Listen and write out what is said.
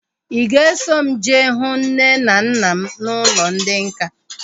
Ị ga-eso m jee hụ nne na nna m n'ụlọ ndị nká?